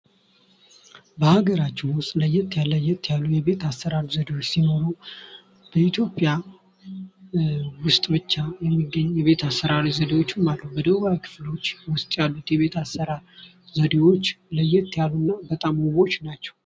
በሀገራችን ውስጥ ለየት ለየት ያሉ የቤት አሰራር ዘዴዎች ሲኖሩ በኢትዮጵያ ውስጥ ብቻ የሚገኙ የቤት አሰራር ዘዴዎችም አሉ። ደቡባዊ ክፍሎች ውስጥ ያሉት የቤት አሠራር ዘዴዎች ለየት ያሉና በጣም ውቦች ናቸው።